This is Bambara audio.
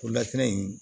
O lakana in